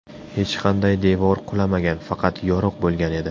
Hech qanday devor qulamagan, faqat yoriq bo‘lgan edi.